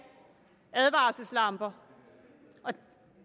advarselslamper